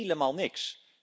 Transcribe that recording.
Helemaal niks.